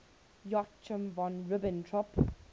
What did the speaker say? joachim von ribbentrop